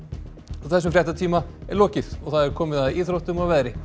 þessum fréttatíma er lokið og það er komið að íþróttum og veðri